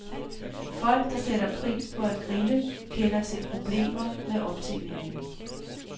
Folk, der sætter pris på at grille, kender til problemer med optændingen.